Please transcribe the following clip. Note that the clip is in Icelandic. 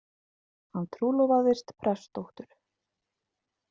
Hann trúlofaðist prestdóttur.